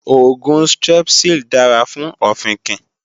Oògùn Strepsil dára fún ọ̀fìnkìn